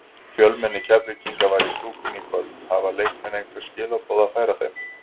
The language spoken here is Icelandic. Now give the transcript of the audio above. Fjölmenni Keflvíkinga var í stúkunni í kvöld, hafa leikmenn einhver skilaboð að færa þeim?